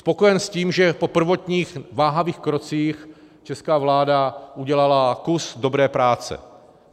Spokojen s tím, že po prvotních váhavých krocích česká vláda udělala kus dobré práce.